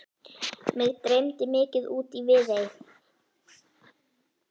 Mig dreymdi mikið út í Viðey.